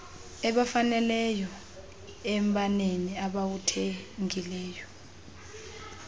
ebafaneleyoevela embaneni abawuthenge